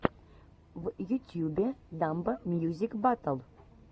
в ютьюбе дамбо мьюзик батл